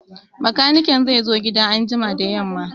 Bakaniken zai zo gida anjima da yamma